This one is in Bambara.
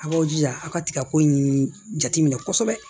A b'aw jira a ka tigɛ ko in jateminɛ kosɛbɛ